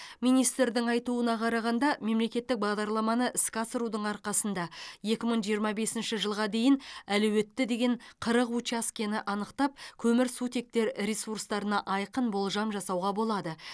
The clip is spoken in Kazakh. министрдің айтуына қарағанда мемлекеттік бағдарламаны іске асырудың арқасында екі мың жиырма бесінші жылға дейін әлеуетті деген қырық учаскені анықтап көмірсутектер ресурстарына айқын болжам жасауға болады